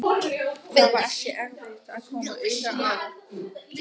Það var ekki erfitt að koma auga á